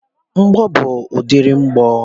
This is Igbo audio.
Bọmbụ bu udiri mgbọ.